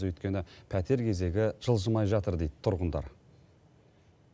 өйткені пәтер кезегі жылжымай жатыр дейді тұрғындар